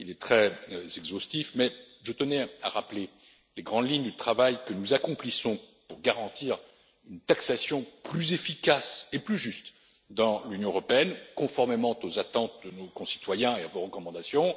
plus long. Il est très exhaustif, mais je tenais à rappeler les grandes lignes du travail que nous accomplissons pour garantir une taxation plus efficace et plus juste dans l'Union européenne, conformément aux attentes de nos concitoyens et à vos recommandations.